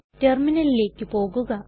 ടെർമിനലിലേക്ക് പോകുക